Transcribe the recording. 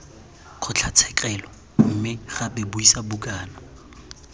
kgotlatshekelo mme gape buisa bukana